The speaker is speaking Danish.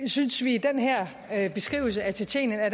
synes at beskrivelsen af tjetjenien er